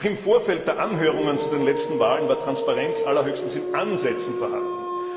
Auch im Vorfeld der Anhörungen zu den letzten Wahlen war Transparenz allerhöchstens in Ansätzen vorhanden.